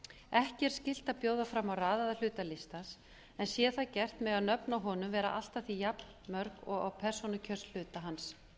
ekki er skylt að bjóða fram á raðaðan hluta listans en sé það gert mega nöfn á honum vera allt að því jafnmörg og á persónukjörshluta hans